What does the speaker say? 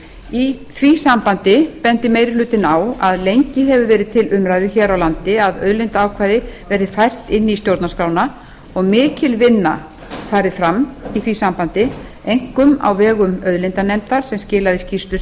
í því sambandi bendir meiri hlutinn á að lengi hefur verið til umræðu hér á landi að auðlindaákvæði verði fært inn í stjórnarskrána og mikil vinna farið fram í því sambandi einkum á vegum auðlindanefndar sem skilaði skýrslu